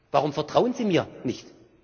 Warum vertrauen Sie mir nicht?